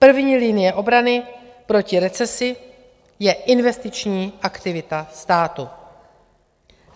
První linie obrany proti recesi je investiční aktivita státu.